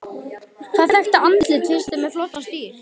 Hvaða þekkta andlit finnst þér með flottan stíl?